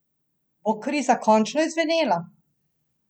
Bo kriza končno izzvenela?